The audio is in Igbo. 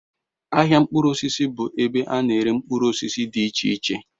Ahịa mkpụrụ osisi bụ ebe a na-ere mkpụrụ osisi dị iche iche